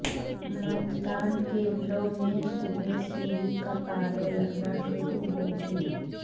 मतदान केंद्रों में सुबह से ही कतारें लगना शुरु हो गईं